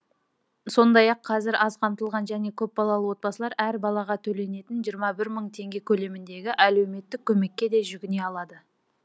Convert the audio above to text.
сондай ақ қазір аз қамтылған және көпбалалы отбасылар әр балаға төленетін жиырма бір мың теңге көлеміндегі әлеуметтік көмекке де жүгіне алады